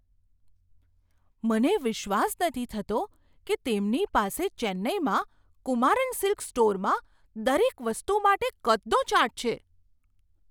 મને વિશ્વાસ નથી થતો કે તેમની પાસે ચેન્નાઈમાં કુમારન સિલ્ક્સ સ્ટોરમાં દરેક વસ્તુ માટે કદનો ચાર્ટ છે.